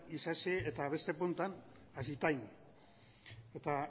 isasi eta beste puntan azitain eta